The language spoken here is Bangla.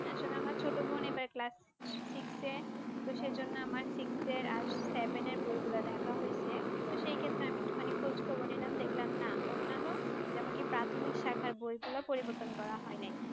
আসলে আমার ছোট বোন এবার Class Six এ তো সেই জন্য আমার Six এর আর Seven এর বইগুলা দেখা হয়েছে তো সেই ক্ষেত্রে আমি একটুখানি খোঁজখবর নিলাম দেখলাম না অন্যান্য যে আমাকে প্রাথমিক শাখায় বইগুলো পরিবর্তন করা হয় নাই।